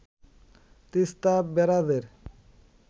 Teesta ব্যারাজের